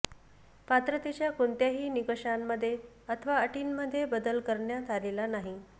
पात्रतेच्या कोणत्याही निकषांमध्ये अथवा अटींमध्ये बदल करण्यात आलेला नाही